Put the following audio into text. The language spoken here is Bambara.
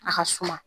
A ka suma